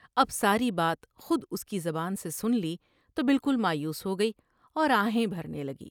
اب ساری بات خود اس کی زبان سے سن لی تو بالکل مایوس ہوگئی اور آہیں بھرنے لگی ۔